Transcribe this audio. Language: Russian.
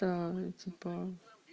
та типа